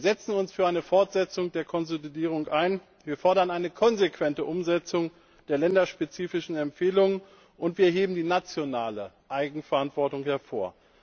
Wir setzen uns für eine Fortsetzung der Konsolidierung ein, wir fordern eine konsequente Umsetzung der länderspezifischen Empfehlungen und wir heben die nationale Eigenverantwortung hervor.